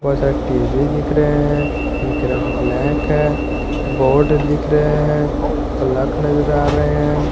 बहुत सारे टी_वी दिख रहे हैं इनके रंग ब्लैक है बोर्ड दिख रहे हैं प्लक नजर आ रहे हैं।